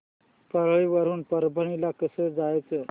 परळी वरून परभणी ला कसं जायचं